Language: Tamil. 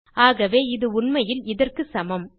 ஆகவே இது உண்மையில் இதற்கு சமம்